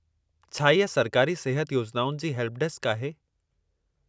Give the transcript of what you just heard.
छा इहा सरकारी सिहत योजनाउनि जी हेल्पडेस्क आहे?